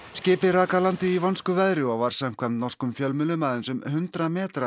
skipið rak að landi í vonskuveðri og var samkvæmt norskum fjölmiðlum aðeins um hundrað metra